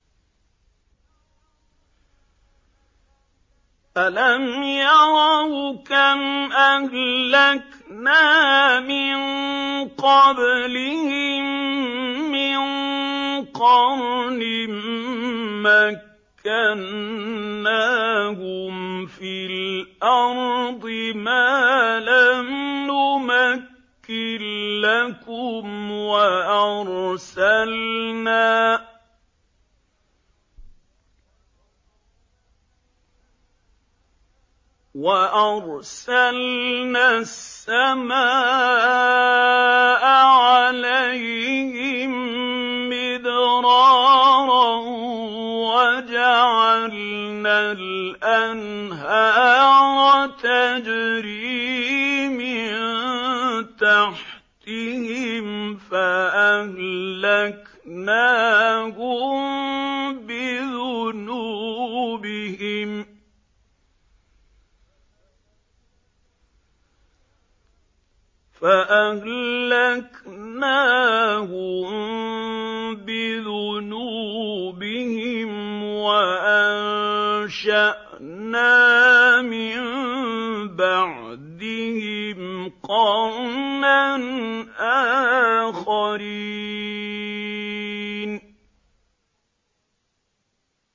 أَلَمْ يَرَوْا كَمْ أَهْلَكْنَا مِن قَبْلِهِم مِّن قَرْنٍ مَّكَّنَّاهُمْ فِي الْأَرْضِ مَا لَمْ نُمَكِّن لَّكُمْ وَأَرْسَلْنَا السَّمَاءَ عَلَيْهِم مِّدْرَارًا وَجَعَلْنَا الْأَنْهَارَ تَجْرِي مِن تَحْتِهِمْ فَأَهْلَكْنَاهُم بِذُنُوبِهِمْ وَأَنشَأْنَا مِن بَعْدِهِمْ قَرْنًا آخَرِينَ